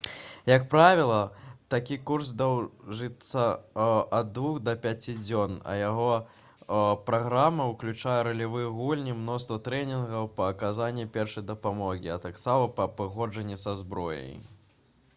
як правіла такі курс доўжыцца ад 2 да 5 дзён а яго праграма ўключае ролевыя гульні мноства трэнінгаў па аказанні першай дапамогі а таксама па абыходжанні са зброяй